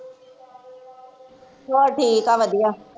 ਬਸ ਠੀਕ ਆ ਵਧੀਆ